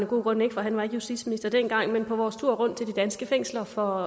gode grunde for han var ikke justitsminister dengang på vores tur rundt til de danske fængsler for